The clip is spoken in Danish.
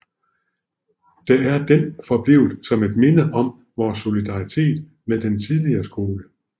Der er den forblevet som et minde om vores solidaritet med den tidligere skole